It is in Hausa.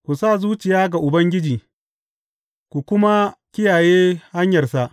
Ku sa zuciya ga Ubangiji ku kuma kiyaye hanyarsa.